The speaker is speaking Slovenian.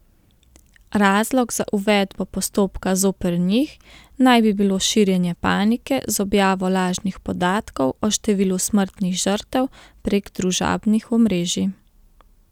Razlog za uvedbo postopka zoper njih naj bi bilo širjenje panike z objavo lažnih podatkov o številu smrtnih žrtev prek družabnih omrežij.